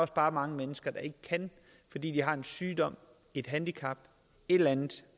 bare mange mennesker der ikke kan fordi de har en sygdom et handicap et eller andet